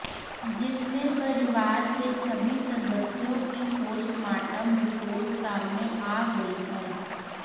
जिसमें परिवार के सभी सदस्यों की पोस्टमार्टम रिपोर्ट सामने आ गई है